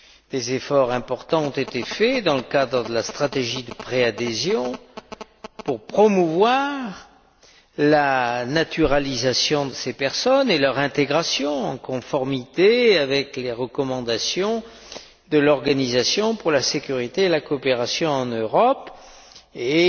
Des efforts importants ont été faits dans le cadre de la stratégie de préadhésion pour promouvoir la naturalisation de ces personnes et leur intégration, en conformité avec les recommandations de l'Organisation pour la sécurité et la coopération en Europe, et